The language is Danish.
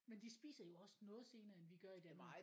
Men de spiser jo også noget senere end vi gør i Danmark